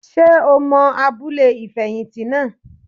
Ṣé o mọ abúlé ìfẹ̀yìntì naa?